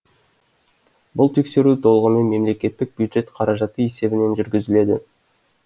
бұл тексеру толығымен мемлекеттік бюджет қаражаты есебінен жүргізіледі